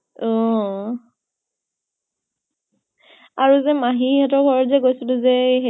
অহ। আৰু যে মাহী হতৰ ঘৰত যে গৈছিলো যে